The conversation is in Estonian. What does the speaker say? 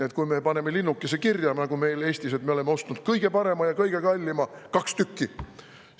Eestis me paneme linnukese kirja, et me oleme ostnud kõige paremad ja kõige kallimad – kaks tükki!